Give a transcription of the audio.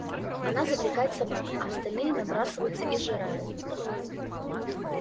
она завлекает собак а остальные набрасываются и сжирают их